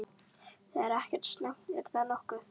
Það er ekkert slæmt, er það nokkuð?